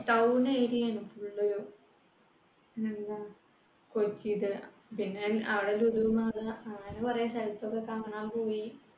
town area ആണ് full ഒരു. പിന്നെ എന്താ കൊച്ചിയിൽ. പിന്നെ അവിടെ ലുലു മാൾ അങ്ങനെ കുറെ സ്ഥലത്തൊക്കെ കാണാൻ പോയി